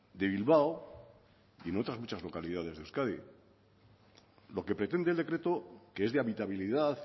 de bilbao y de otras muchas localidades de euskadi lo que pretende el decreto que es de habitabilidad